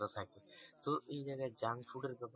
তো এই জায়গায় junk food এর ব্যাপার